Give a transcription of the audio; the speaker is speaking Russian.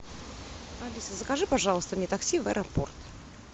алиса закажи пожалуйста мне такси в аэропорт